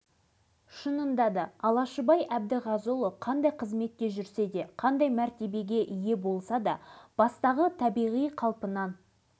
кезінде осындай тақырыппен облыстық газетке мақала жазғаным да есімде дейді ол өткен күндерін еске алып